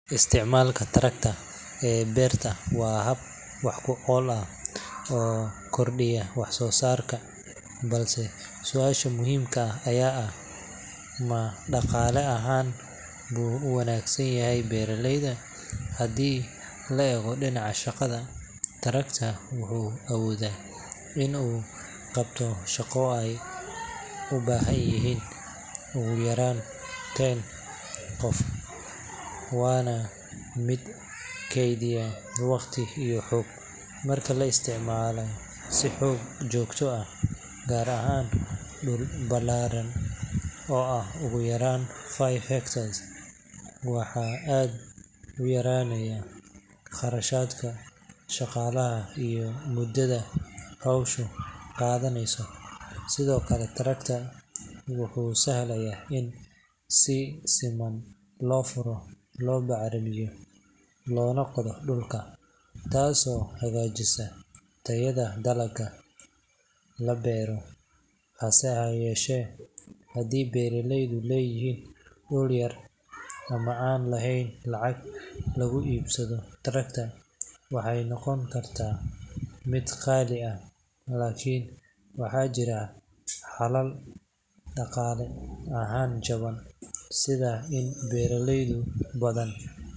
Isticmaalka tractor ee beerta waa hab wax ku ool ah oo kordhiya wax-soo-saarka, balse su’aasha muhiimka ah ayaa ah: ma dhaqaale ahaan buu u wanaagsan yahay beeraleyda? Haddii la eego dhinaca shaqada, tractor wuxuu awoodaa in uu qabto shaqo ay u baahan yihiin ugu yaraan ten qof, waana mid keydiya waqti iyo xoog. Marka la isticmaalo si joogto ah, gaar ahaan dhul ballaaran oo ah ugu yaraan five acres, waxaa aad u yaraanaya kharashka shaqaalaha iyo muddada howshu qaadanayso. Sidoo kale, tractor wuxuu sahlaa in si siman loo furo, loo bacrimiyo, loona qodo dhulka, taasoo hagaajisa tayada dalagga la beero. Hase yeeshee, haddii beeraleydu leeyihiin dhul yar ama aan lahayn lacag lagu iibsado tractor, waxay noqon kartaa mid qaali ah. Laakiin waxaa jira xalal dhaqaale ahaan jaban sida in beeraley badan.